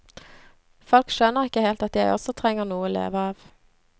Folk skjønner ikke helt at jeg også trenger noe å leve av.